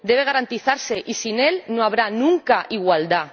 Debe garantizarse y sin él no habrá nunca igualdad.